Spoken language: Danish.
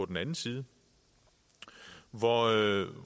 den anden side og